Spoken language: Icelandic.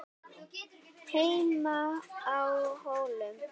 HEIMA Á HÓLUM